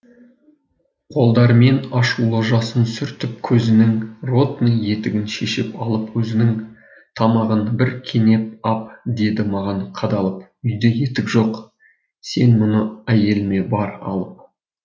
қолдарымен ашулы жасын сүртіп көзінің ротный етігін шешіп алып өзінің тамағын бір кенеп ап деді маған қадалып үйде етік жоқ сен мұны әйеліме бар алып